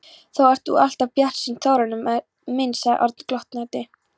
Þú ert alltof bjartsýnn, Þórarinn minn sagði Örn glottandi.